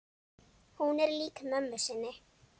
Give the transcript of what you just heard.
Hún er lík mömmu sinni.